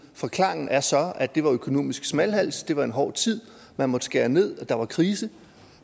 forklaringen er så at det var økonomisk smalhals at det var en hård tid man måtte skære ned og der var krise